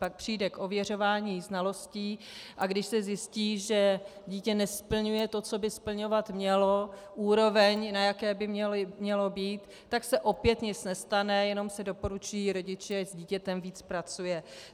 Pak přijde k ověřování znalostí, a když se zjistí, že dítě nesplňuje to, co by splňovat mělo, úroveň, na jaké by mělo být, tak se opět nic nestane, jenom se doporučí rodiči, ať s dítětem víc pracuje.